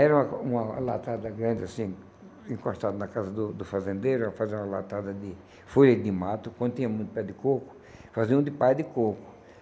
Era uma latada grande assim, encostado na casa do do fazendeiro, fazia uma latada de folha de mato, quando tinha muito pé de coco, fazia um de palha de coco.